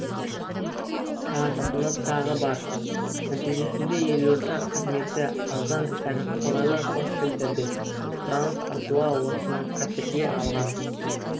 танытатыны тағы бар нәтижесінде елордада қызметі арзан әрі қолайлы хостелдерге сұраныс артуда осыны қәперге алған